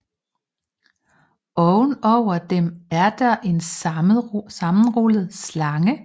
Ovenover dem er der en sammenrullet slange